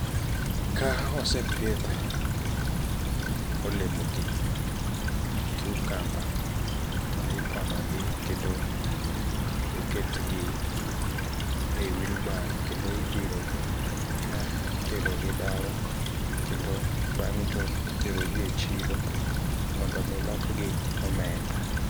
Kaosepidh olemogi cucumber to iponogi kendo oketgi e wheelbarrow kendo idhirogi kaiterogi dala kendo bang'e to iterogi e chiro mondomi lokgi omenda.